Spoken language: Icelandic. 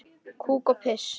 Kúk og piss.